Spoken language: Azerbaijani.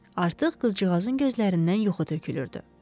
Artıq qızcığazın gözlərindən yuxu tökülürdü.